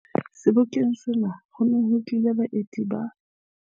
Sebokeng sena ho ne ho tlile baemedi ba